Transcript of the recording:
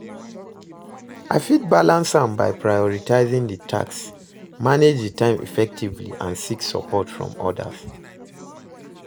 I fit balance am by prioritizing di tasks, manage di time effectively and seek support from odas.